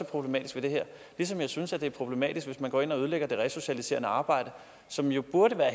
problematisk ved det her ligesom jeg synes det er problematisk hvis man går ind og ødelægger det resocialiserende arbejde som jo burde være